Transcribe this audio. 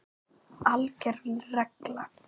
ALGER REGLA